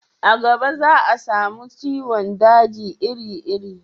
a gaba za a samu ciwon daji iri iri